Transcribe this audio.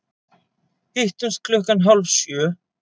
Hittumst klukkan hálf sjö.